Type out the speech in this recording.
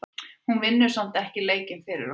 Hún vinnur samt ekki leikinn fyrir okkur.